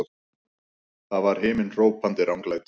Það var himinhrópandi ranglæti!